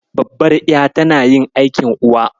Babbar ƴa tana yin aikin Uwa.